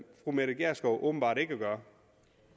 fru mette gjerskov åbenbart ikke at gøre